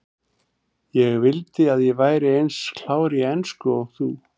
Ég vildi að ég væri eins klár í ensku og þú.